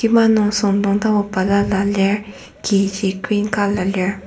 kima nung süngdong tapu balala lir kiji green colour lir.